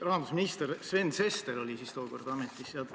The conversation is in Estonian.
Rahandusminister Sven Sester oli tookord ametis.